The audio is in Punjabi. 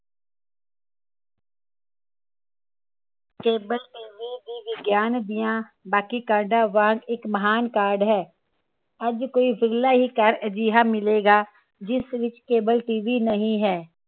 cableTV ਵੀ ਵਿਗਿਆਨ ਦੀਆਂ ਬਾਕੀ ਕਾਢਾਂ ਵਾਂਗ ਇਕ ਮਹਾਨ ਕਾਢ ਹੈ ਅੱਜ ਕੋਈ ਵਿਰਲਾ ਹੀ ਘਰ ਅਜਿਹਾ ਮਿਲੇਗਾ ਜਿਸ ਵਿਚ CableTV ਨਹੀ ਹੈ